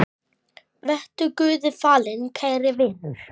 Vertu Guði falinn, kæri vinur.